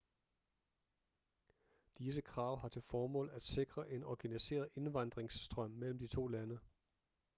disse krav har til formål at sikre en organiseret indvandringsstrøm mellem de to lande